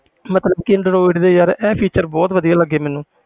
ਮਤਲਬ ਕਿ android ਦੇ ਯਾਰ ਇਹ feature ਬਹੁਤ ਵਧੀਆ ਲੱਗੇ ਮੈਨੂੰ।